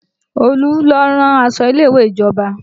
Olu ló ń rán aṣọ ilé ìwé ìjọba